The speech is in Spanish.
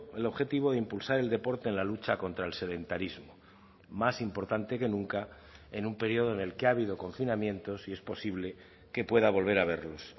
el objetivo de impulsar el deporte en la lucha contra el sedentarismo más importante que nunca en un periodo en el que ha habido confinamientos y es posible que pueda volver a haberlos